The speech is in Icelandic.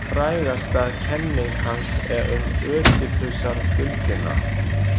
Frægasta kenning hans er um Ödipusarduldina.